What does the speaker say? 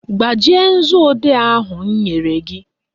Gbajie nzuodee ahụ m nyere gị!